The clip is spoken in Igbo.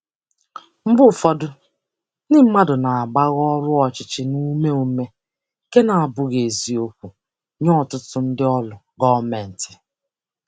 Mgbe ụfọdụ, ndị mmadụ na-agbagha ọrụ ọchịchị na ume ume, nke na-abụghị eziokwu nye ọtụtụ ndị ọrụ gọọmentị.